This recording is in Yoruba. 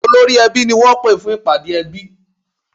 Olórí-ẹbí ni wọ́n pè fún ìpàdé ẹbí